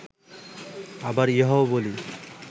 আবার ইহাও বলি